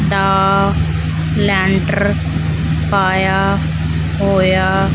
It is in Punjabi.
ਦਾ ਲੈਂਟਰ ਪਾਇਆ ਹੋਇਆ --